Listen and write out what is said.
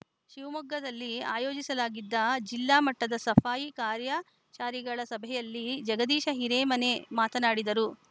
ಶಿವಮೊಗ್ಗದಲ್ಲಿ ಆಯೋಜಿಸಲಾಗಿದ್ದ ಜಿಲ್ಲಾ ಮಟ್ಟದ ಸಫಾಯಿ ಕರ್ಮಚಾರಿಗಳ ಸಭೆಯಲ್ಲಿ ಜಗದೀಶ ಹಿರೇಮನೆ ಮಾತನಾಡಿದರು